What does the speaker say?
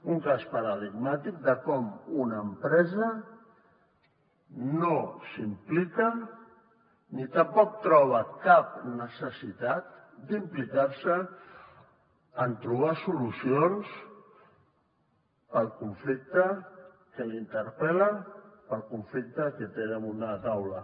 un cas paradigmàtic de com una empresa no s’implica ni tampoc troba cap necessitat d’implicar se en trobar solucions per al conflicte que li interpel·la per al conflicte que té damunt la taula